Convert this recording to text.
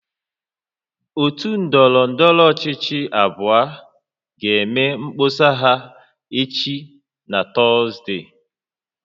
Otu ndọrọndọrọ ọchịchị abụọ ga-eme mkpọsa ha echi na Tọzdee